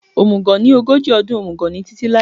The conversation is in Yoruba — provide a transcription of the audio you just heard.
Omùgọ̀ ni ogójì ọdún, omùgọ̀ ni títí láé